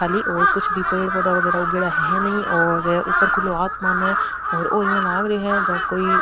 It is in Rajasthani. खाली और कुछ भी पेड़ पौधा बगेरा उगेड़ा है नहीं और ऊपर खुलो आसमान है --